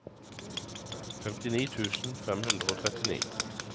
femtini tusen fem hundre og trettini